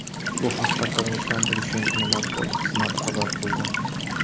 Bu haqda Qirg‘iziston prezidentining matbuot xizmati xabar qildi .